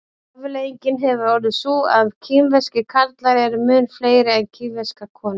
afleiðingin hefur orðið sú að kínverskir karlar eru mun fleiri en kínverskar konur